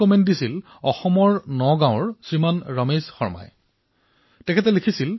এই মন্তব্য অসমৰ নগাঁৱৰ শ্ৰীমান ৰমেশ শৰ্মাই লিখিছিল